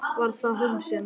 Var það hún sem.?